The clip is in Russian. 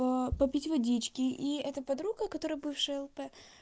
попить водички и это подруга которая бывшая лучшая подруга